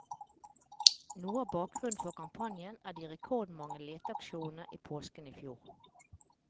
Noe av bakgrunnen for kampanjen er de rekordmange leteaksjonene i påsken i fjor.